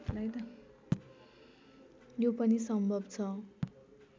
यो पनि सम्भव छ